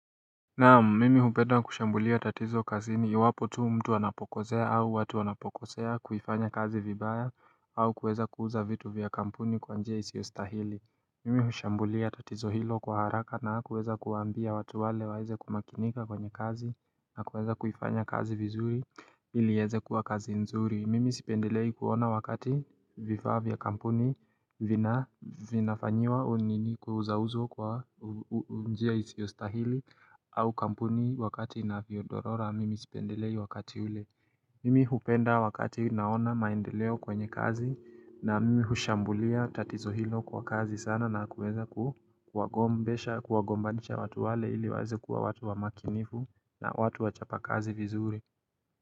Naam, mimi hupenda kushambulia tatizo kazini iwapo tu mtu wanapokosea au watu wanapokosea kuifanya kazi vibaya au kuweza kuuza vitu vya kampuni kwa njia isiostahili. Mimi hushambulia tatizo hilo kwa haraka na kuweza kuambia watu wale waize kumakinika kwenye kazi na kuweza kufanya kazi vizuri iliyeze kuwa kazi nzuri. Mimi sipendelei kuona wakati vifaa vya kampuni vinafanyiwa unini kuuza uzo kwa njia isiostahili. Au kampuni wakati inavyo dorora mimi sipendelei wakati ule. Mimi hupenda wakati naona maendeleo kwenye kazi na mimi hushambulia tatizo hilo kwa kazi sana na kueza kuagombesha kuagombanisha watu wale ili waze kuwa watu wa makinifu na watu wachapa kazi vizuri.